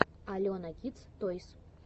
алена кидс тойс